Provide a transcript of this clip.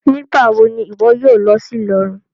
Nigbawo ni iwọ yoo lọ si Ilorin?